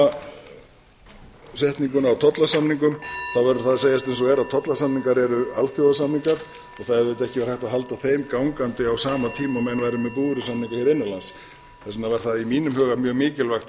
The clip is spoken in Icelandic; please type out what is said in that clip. tímasetninguna á tollasamningum þá verður það að segjast eins og er tollasamningar eru alþjóðasamningum og það hefði auðvitað ekki verið hægt að halda þeim gangandi á sama tíma og menn væru með búvörusamninga hér innanlands þess vegna var það í mínum huga mjög mikilvægt að